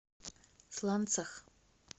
сланцах